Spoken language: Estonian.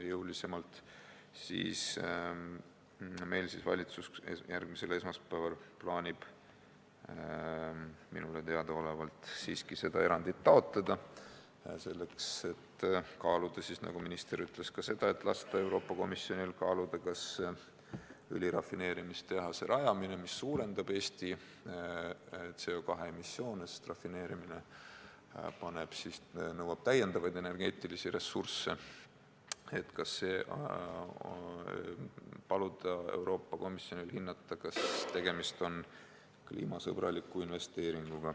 Meil aga plaanib valitsus järgmisel esmaspäeval minule teadaolevalt seda erandit siiski taotleda ja lasta Euroopa Komisjonil kaaluda, nagu minister ütles, kas õli rafineerimise tehase rajamine, mille tagajärjel suureneb Eesti CO2 emissioon, sest rafineerimine nõuab energeetilisi lisaressursse, on kliimasõbralik investeering.